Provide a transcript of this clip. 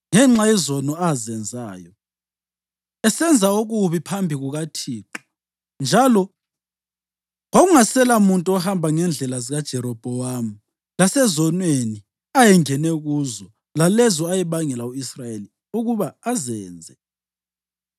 ngenxa yezono azenzayo, esenza okubi phambi kukaThixo njalo kwakungaselamuntu ohamba ngendlela zikaJerobhowamu lasezonweni ayengene kuzo lalezo ayebangela u-Israyeli ukuba azenze.